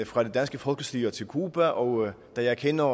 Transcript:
fra det danske folkestyre til cuba og da jeg kender